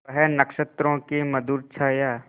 वह नक्षत्रों की मधुर छाया